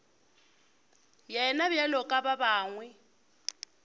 yena bjalo ka ba bangwe